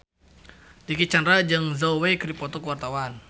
Dicky Chandra jeung Zhao Wei keur dipoto ku wartawan